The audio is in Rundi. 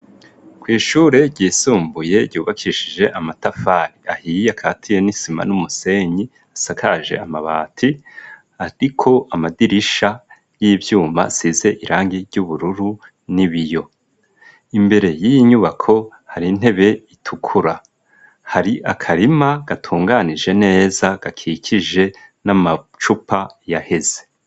Kw'ishure ryisumbuye ryubakishije amatafari ahiye akatiye n'isima n'umusenyi, asakaje amabati ariko amadirisha y'ivyuma asize irangi ry'ubururu n'ibiyo, imbere y'iyi nyubako hari intebe itukura, hari akarima gatunganije neza gakikije n'amacupa yaheze.